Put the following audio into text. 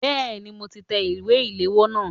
Bẹ́ẹ̀ni, mo ti tẹ ìwé ìléwọ́ náà.